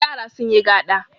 Yara sun yi gado.